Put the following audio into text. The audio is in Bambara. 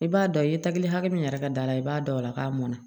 I b'a dɔn i ye tagi hakɛ min yɛrɛ ka d'a la i b'a dɔn o la k'a mɔnna